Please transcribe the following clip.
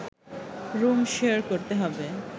room share করতে হবে